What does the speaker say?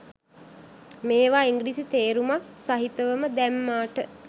මේවා ඉංග්‍රිසි තේරුමත් සහිතවම දැම්මාට